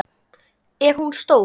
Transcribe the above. Er hún stór?